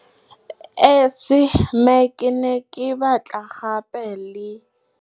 Esi, mme ke ne ke batla gape le.